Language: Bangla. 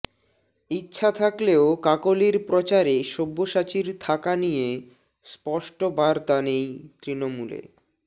ইচ্ছা থাকলেও কাকলির প্রচারে সব্যসাচীর থাকা নিয়ে স্পষ্ট বার্তা নেই তৃণমূলে